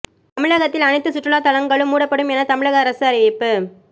தமிழகத்தில் அனைத்து சுற்றுலாத்தலங்களும் மூடப்படும் என தமிழக அரசு அறிவிப்பு